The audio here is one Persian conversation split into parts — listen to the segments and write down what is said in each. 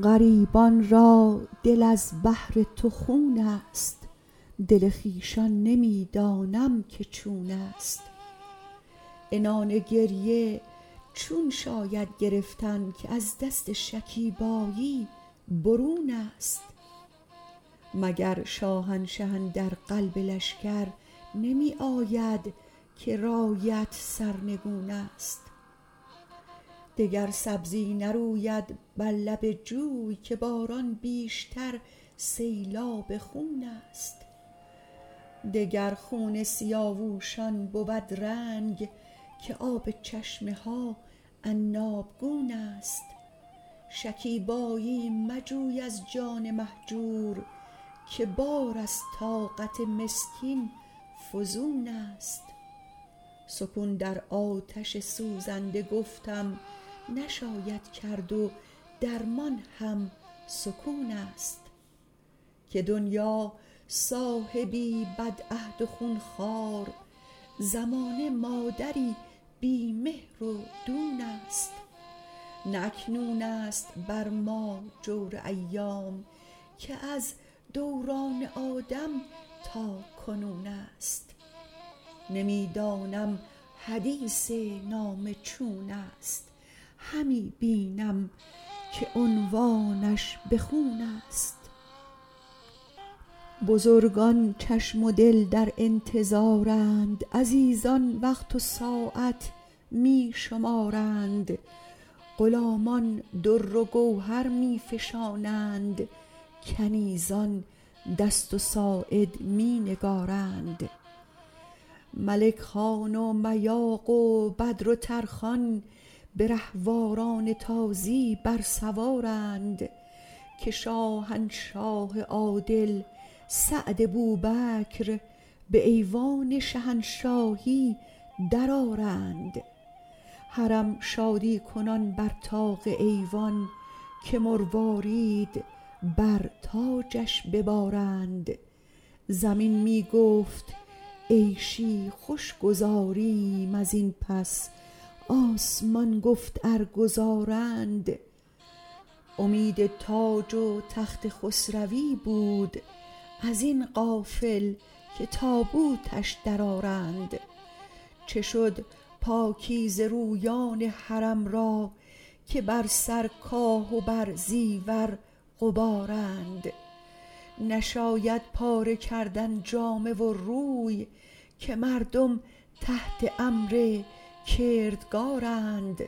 غریبان را دل از بهر تو خونست دل خویشان نمی دانم که چونست عنان گریه چون شاید گرفتن که از دست شکیبایی برونست مگر شاهنشه اندر قلب لشکر نمی آید که رایت سرنگونست دگر سبزی نروید بر لب جوی که باران بیشتر سیلاب خونست دگر خون سیاووشان بود رنگ که آب چشمه ها عنابگونست شکیبایی مجوی از جان مهجور که بار از طاقت مسکین فزونست سکون در آتش سوزنده گفتم نشاید کرد و درمان هم سکونست که دنیا صاحبی بدعهد و خونخوار زمانه مادری بی مهر و دونست نه اکنونست بر ما جور ایام که از دوران آدم تاکنونست نمی دانم حدیث نامه چونست همی بینم که عنوانش به خونست بزرگان چشم و دل در انتظارند عزیزان وقت و ساعت می شمارند غلامان در و گوهر می فشانند کنیزان دست و ساعد می نگارند ملک خان و میاق و بدر و ترخان به رهواران تازی برسوارند که شاهنشاه عادل سعد بوبکر به ایوان شهنشاهی درآرند حرم شادی کنان بر طاق ایوان که مروارید بر تاجش ببارند زمین می گفت عیشی خوش گذاریم ازین پس آسمان گفت ارگذارند امید تاج و تخت خسروی بود ازین غافل که تابوتش درآرند چه شد پاکیزه رویان حرم را که بر سر کاه و بر زیور غبارند نشاید پاره کردن جامه و روی که مردم تحت امر کردگارند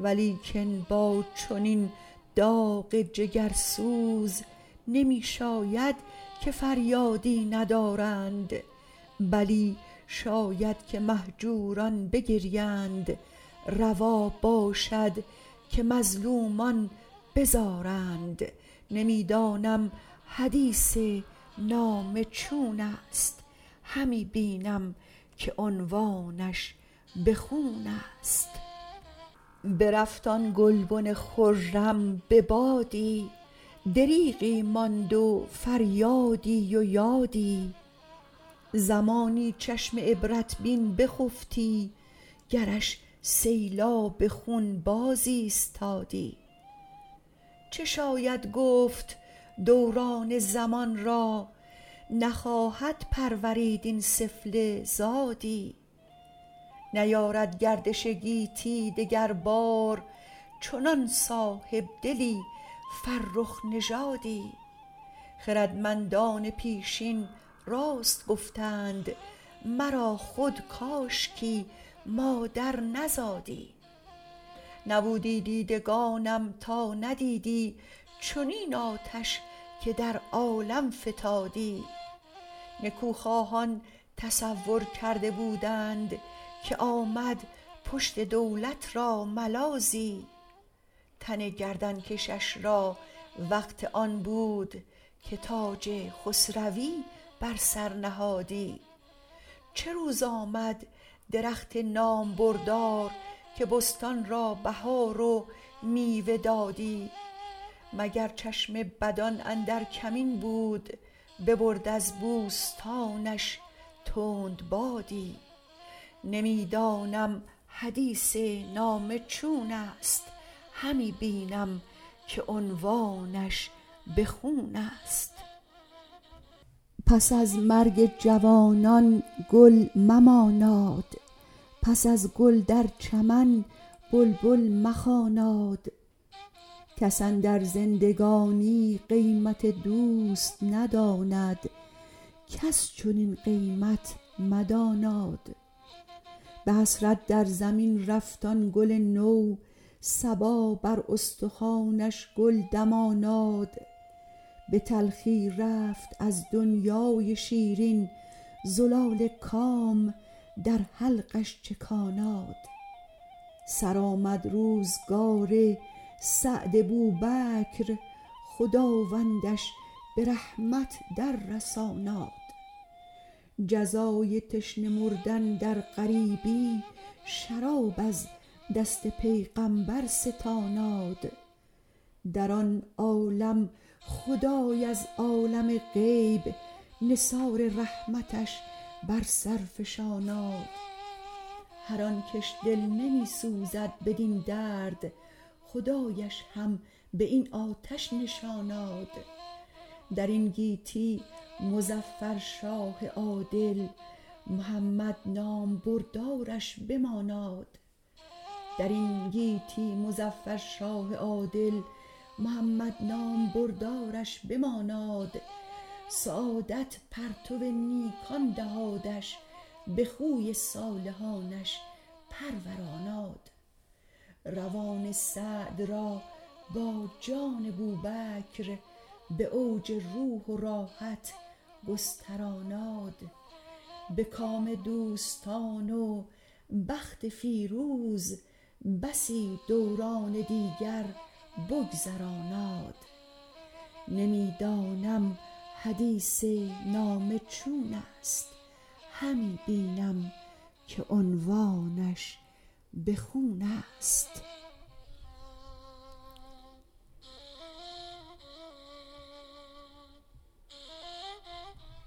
ولیکن با چنین داغ جگرسوز نمی شاید که فریادی ندارند بلی شاید که مهجوران بگریند روا باشد که مظلومان بزارند نمی دانم حدیث نامه چونست همی بینم که عنوانش به خونست برفت آن گلبن خرم به بادی دریغی ماند و فریادی و یادی زمانی چشم عبرت بین بخفتی گرش سیلاب خون باز ایستادی چه شاید گفت دوران زمان را نخواهد پرورید این سفله رادی نیارد گردش گیتی دگر بار چنان صاحبدلی فرخ نژادی خردمندان پیشین راست گفتند مرا خود کاشکی مادر نزادی نبودی دیدگانم تا ندیدی چنین آتش که در عالم فتادی نکوخواهان تصور کرده بودند که آمد پشت دولت را ملاذی تن گردنکشش را وقت آن بود که تاج خسروی بر سر نهادی چه روز آمد درخت نامبردار که بستان را بهار و میوه دادی مگر چشم بدان اندر کمین بود ببرد از بوستانش تند بادی نمی دانم حدیث نامه چونست همی بینم که عنوانش به خونست پس از مرگ جوانان گل مماناد پس از گل در چمن بلبل مخواناد کس اندر زندگانی قیمت دوست نداند کس چنین قیمت مداناد به حسرت در زمین رفت آن گل نو صبا بر استخوانش گل دماناد به تلخی رفت از دنیای شیرین زلال کام در حلقش چکاناد سرآمد روزگار سعد بوبکر خداوندش به رحمت در رساناد جزای تشنه مردن در غریبی شراب از دست پیغمبر ستاناد در آن عالم خدای از عالم غیب نثار رحمتش بر سر فشاناد هر آن کش دل نمی سوزد بدین درد خدایش هم به این آتش نشاناد درین گیتی مظفر شاه عادل محمد نامبردارش بماناد سعادت پرتو نیکان دهادش به خوی صالحانش پروراناد روان سعد را با جان بوبکر به اوج روح و راحت گستراناد به کام دوستان و بخت فیروز بسی دوران دیگر بگذراناد نمی دانم حدیث نامه چونست همی بینم که عنوانش به خونست